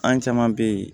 An caman bɛ yen